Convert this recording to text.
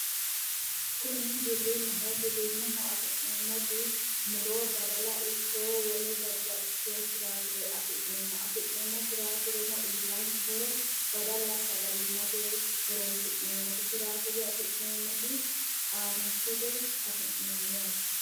Kuni giwirinnu giwirinnaho afi'neemmoti muro badala ikko wole babbaxxiteyo firaaffire afi'nemmo afi'neemmo firaaffireno horo uyitaanketi badala sagalimmate firaaffire qaamattote afi'neemmo yaate